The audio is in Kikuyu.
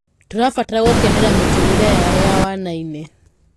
tũrabatara gukenera miturire yao ya wanai-ini